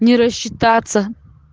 не рассчитаться